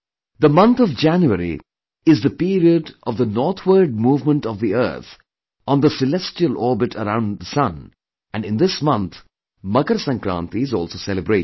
The month of January is the period of the northward movement of the Earth on the celestial orbit around sun and in this month MakarSankranti is also celebrated